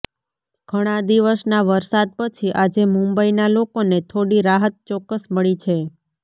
ઘણા દિવસના વરસાદ પછી આજે મુંબઈના લોકોને થોડી રાહત ચોક્કસ મળી છે